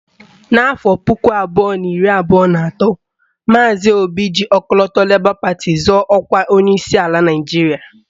N'afọ puku abụọ na iri abụọ na atọ, maazi Pita Obi ji ọkọlọtọ Lebọ pati zọọ ọkwa onyeisi ala Naịjiria